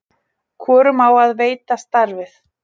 hvorum á að veita starfið